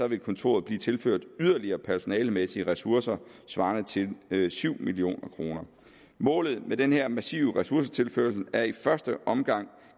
vil kontoret blive tilført yderligere personalemæssige ressourcer svarende til syv million kroner målet med den her massive ressourcetilførsel er i første omgang